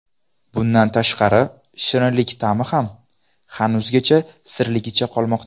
Bundan tashqari, shirinlik ta’mi ham hanuzgacha sirligicha qolmoqda.